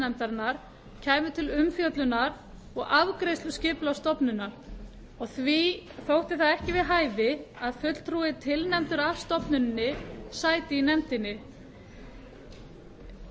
skipulagsnefndarinnar kæmu til umfjöllunar og afgreiðslu skipulagsstofnunar og því væri ekki við hæfi að fulltrúi tilnefndur af stofnuninni sæti í nefndinni